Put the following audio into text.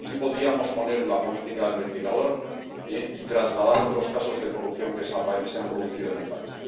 Aquí podríamos poner la política del ventilador y trasladar otros casos de corrupción que se han producido en el país.